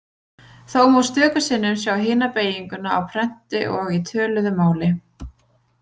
Þó má stöku sinnum sjá hina beyginguna á prenti og í töluðu máli.